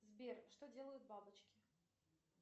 сбер что делают бабочки